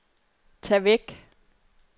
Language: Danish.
tag væk